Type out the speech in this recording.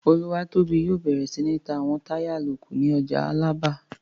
Olúwatóbi yóò bẹ̀rẹ̀ sí ní ta àwọn táyà àlòkù ní ọjà Alábà